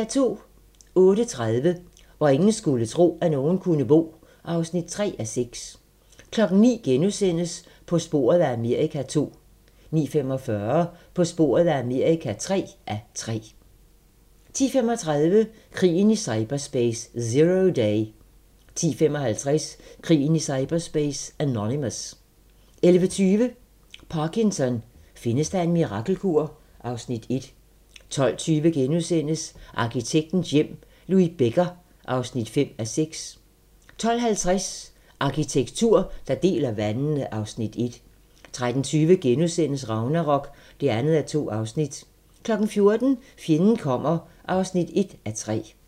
08:30: Hvor ingen skulle tro, at nogen kunne bo (3:6) 09:00: På sporet af Amerika (2:3)* 09:45: På sporet af Amerika (3:3) 10:35: Krigen i cyberspace - Zero Day 10:55: Krigen i cyberspace - Anonymous 11:20: Parkinson: Findes der en mirakelkur? (Afs. 1) 12:20: Arkitektens hjem - Louis Becker (5:6)* 12:50: Arkitektur, der deler vandene (Afs. 1) 13:20: Ragnarok (2:2)* 14:00: Fjenden kommer (1:3)